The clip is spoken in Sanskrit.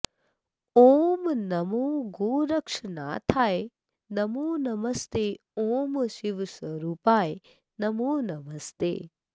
ॐ नमो गोरक्षनाथाय नमो नमस्ते ॐ शिवस्वरूपाय नमो नमस्ते